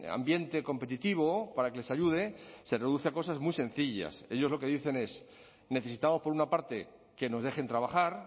ambiente competitivo para que les ayude se reduce a cosas muy sencillas ellos lo que dicen es necesitamos por una parte que nos dejen trabajar